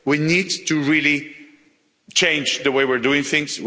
We need to really change the way we are doing things.